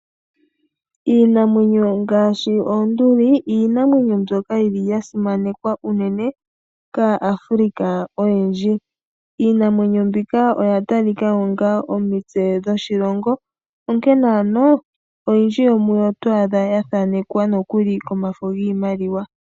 Iinamwenyo ngaashi oonduli, iinamwenyo mbyoka yili yasimanekwa unene kaAfrica oyendji, iinamwenyo mbika oya talika onga omitse dhoshilongo, onkene ano oyindji yomuyo otwaadha yathanekwa nokuli komafo giimaliwa.